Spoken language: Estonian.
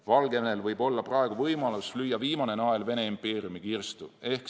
Valgevenel võib olla praegu võimalus lüüa viimane nael Vene impeeriumi kirstu.